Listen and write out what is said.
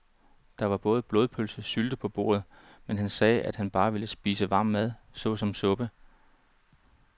Der var både blodpølse og sylte på bordet, men han sagde, at han bare ville spise varm mad såsom suppe.